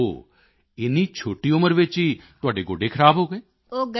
ਓ ਹੋ ਇੰਨੀ ਛੋਟੀ ਉਮਰ ਵਿੱਚ ਹੀ ਤੁਹਾਡੇ ਗੋਡੇ ਖਰਾਬ ਹੋ ਗਏ